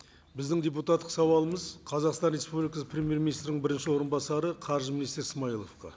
біздің депутаттық сауалымыз қазақстан республикасы премьер министрінің бірінші орынбасары қаржы министрі смайыловқа